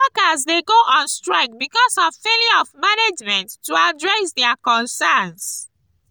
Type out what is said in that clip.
workers dey go on strike because of failure of management to address dia concerns.